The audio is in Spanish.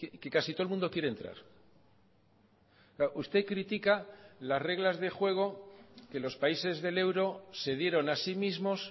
que casi todo el mundo quiere entrar usted critica las reglas de juego que los países del euro se dieron a sí mismos